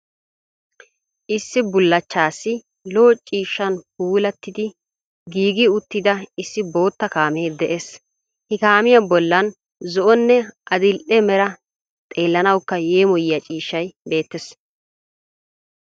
Issi bulachchas lo''o ciishshan puulatidi giigi uttida issi bootta kaamee de'es. He kaamiya bollani zo'onne adil'e mera, xeelanawuka yemoyiyaa ciishay beetes.